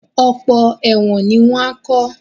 Ọ̀pọ̀ ẹ̀wọ̀n ni wọ́n á kọ́